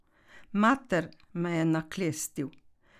Mater, me je naklestil!